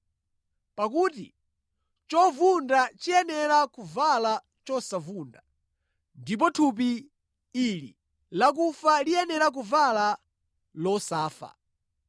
Pakuti chovunda chiyenera kuvala chosavunda, ndi thupi ili lakufa liyenera kuvala losafa.